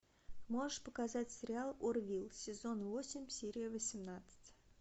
можешь показать сериал орвилл сезон восемь серия восемнадцать